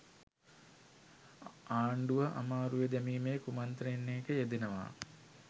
ආණ්ඩුව අමාරුවේ දැමීමේ කුමන්ත්‍රණයක යෙදෙනවා